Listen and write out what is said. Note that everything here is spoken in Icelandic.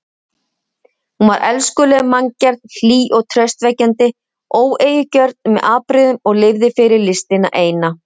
Hún var elskuleg manngerð, hlý og traustvekjandi, óeigingjörn með afbrigðum og lifði fyrir listina eina.